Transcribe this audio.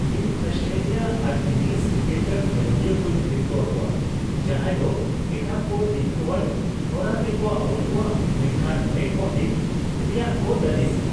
ᱤᱧ ᱟᱥᱴᱮᱞᱤᱭᱟ ᱟᱨ English cricket ᱠᱷᱮᱞᱳᱰᱤᱭᱟᱹ ᱠᱚᱧ ᱦᱤᱨᱠᱟ ᱟᱠᱚᱣᱟ ᱡᱟᱦᱟᱸᱭ ᱫᱚ ᱮᱴᱟᱜ ᱠᱚ ᱫᱤᱜᱫᱷᱟᱹᱣᱟᱱ ᱦᱚᱨᱟ ᱛᱮᱠᱚ ᱟᱣᱩᱴ ᱠᱚᱣᱟ ᱢᱮᱱᱠᱷᱟᱱ ᱢᱮᱱᱠᱚᱰᱤᱸᱝ ᱨᱮᱭᱟᱜ ᱠᱚ ᱞᱟᱹᱞᱤᱥᱟ ᱾